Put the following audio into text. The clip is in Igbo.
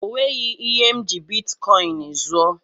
O nweghị ihe m ji bitkọin zuo.